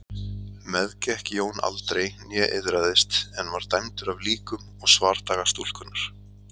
Meðgekk Jón aldrei né iðraðist en var dæmdur af líkum og svardaga stúlkunnar.